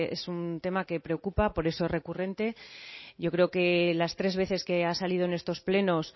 es un tema que preocupa por eso es recurrente yo creo que las tres veces que ha salido en estos plenos